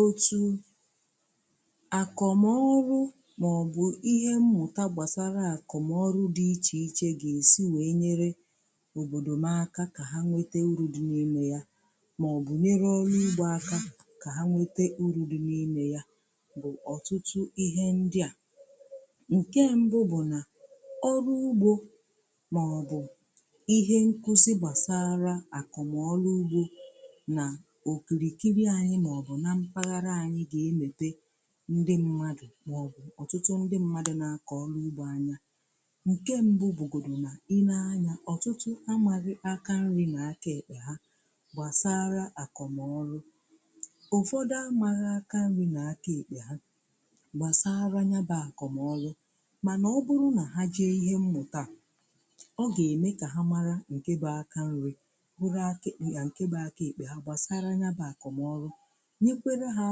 Otu àkọmọrụ ma-ọbụ ihe mmụ̀ta gbasara àkọmọrụ dị iche iche, ga-esị wee nyere òbọ̀dò m aka ka ha nwete uru dị n'ime ya, maọbụ nyere onye ọrụ ugbo aka ka o nwete uru dị n'ime ya bụ ọtụtụ ihe ndị a: Nke mbụ bụ na ọrụ ugbo, maọbụ ihe nkuzi gbasara àkọmọrụ ugbo, na okirikiri anyi ma-ọbụ na mpaghara anyị ga-emete ndị mmadụ ma-ọbụ ọtụtụ ndị mmadụ na-akọ ugbo anya. Nke mbụ bugodoro na ị na-ele anya, ọtụtụ n’ime ha amaghị aka nri na aka ekpe ha gbasara àkọmọrụ. Mana ọ bụrụ na ha jee ihe mmụta, ọ ga-eme ka ha mara nke bụ aka nri, hụkwa aka ekpe ha gbasara ya bụ àkọmọrụ nke ga-enye ha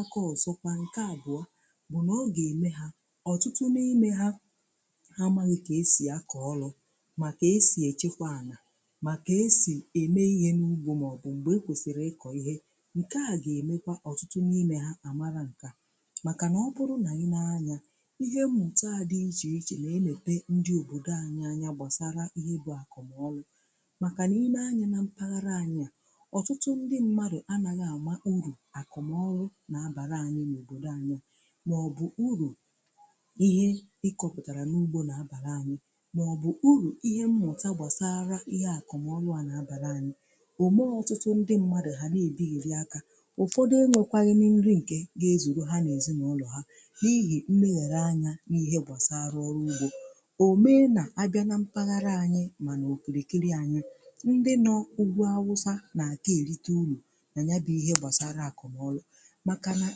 akụrụngwa. Nke abụọ, ọ ga-eme ka ọtụtụ n’ime ha ndị n'amaghị otú e si akọrọ, maọbụ esi echekwa ihe ubi mụta. Oge akọrọ, oge akụrụ, oge e kwesiri ịkọ ihe, ihe ndị a bụ ihe a na-amaghị, ma site n’ihe mmụta, ha ga-amụta ya. Ihe mmụta dị iche iche na-eleta obodo, na-enye aka ịmụta ihe gbasara àkọmọrụ. Nke a bụ e kpụrụ ọrụ nke bara uru na obodo, maọbụ uru nke ihe a kọrọ n’ugbo na-abara anyị, maọbụ uru ihe mmụta gbasara àkọmọrụ na-abara anyị. Ọmụmụ a ga-eme ka ọtụtụ ndị mmadụ, ndị na-adịghị aka ụtụtụ, nwee ihe oriri zuru ha na ezinụlọ ha, n’ihi mmegharị anya n’ihe gbasara ọrụ ugbo. Ọtụtụ ọrụ na-abịa na mpaghara anyị ma na okirikiri anyị, ndị nọ ugwu Awụsa na-eri uru, maka na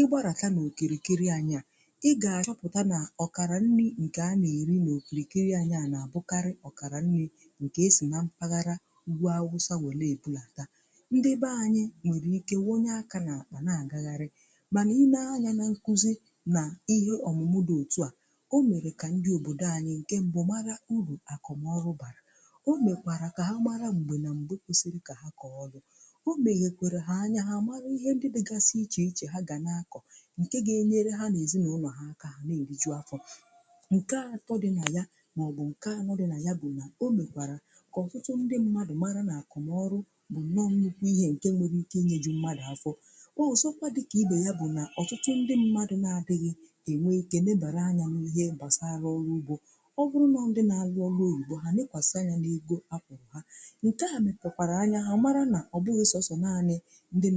ọ bụrụ na i gara okirikiri ha, ị ga-achọpụta na ọkara nri ndị a na-eri n’okirikiri ahụ, bụkarị ọkara nri nke si na mpaghara Ugwu Awụsa bịa ha wee bulata ya, nye ndị be anyị. Anyị nwere ike iwunye aka n’àkpà, na-agagharị ma ọ bụrụ na anyị na-akụzị na ihe ọmụmụ dị otu a, ọ nwere ike ime ka ndị obodo anyị mara uru àkọ́mọrụ bara. O mekwara ka ha mara mgbe na mgbe kwesiri ka ha kọrọ, o mekwara ka ha nwee anya nke ga-enyere ha na ezinụlọ ha aka, ka ha n’eriju afọ. Nke atọ, o metụtara anya ha, mee ka ha mara na àkọmọrụ bụ nnukwu ihe nwere ike inyeju mmadụ afọ. Ọ dịghị iche na ibi ndụ ọma, bụ naanị maka ndị bi n’obodo ukwu maọbụ na-arụ ọrụ oyibo. Ọtụtụ ndị mmadụ adịghị enwe ike ịbanye n’ihe gbasara ọrụ ugbo. Ọ bụrụ na ha na-arụ ọrụ oyibo, ha na-ele anya n’ego ha na-enweta. Ma ihe mmụta a ga-eme ka ha mata na ọ bụghị naanị ndị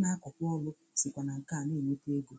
na-akọ ọrụ ka ga-erite uru.